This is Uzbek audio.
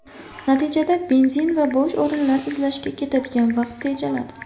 Natijada benzin va bo‘sh o‘rin izlashga ketadigan vaqt tejaladi.